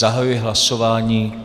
Zahajuji hlasování.